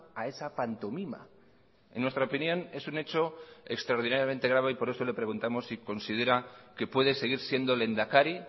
a esa pantomima en nuestra opinión es un hecho extraordinariamente grave y por eso le preguntamos si considera que puede seguir siendo lehendakari